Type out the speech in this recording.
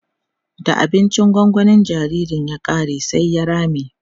da abincin gongonin jinjirin ya ƙare sai ya rame